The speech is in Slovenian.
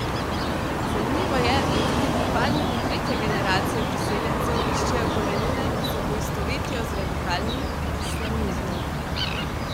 Zanimivo je, da tudi pripadniki tretje generacije priseljencev iščejo korenine in se poistovetijo z radikalnim islamizmom.